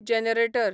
generator